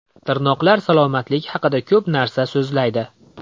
Tirnoqlar salomatlik haqida ko‘p narsa so‘zlaydi.